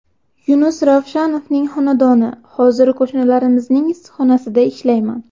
Yunus Ravshanovning xonadoni Hozir qo‘shnilarimizning issiqxonasida ishlayman.